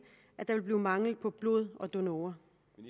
at der vil blive mangel på blod og donorer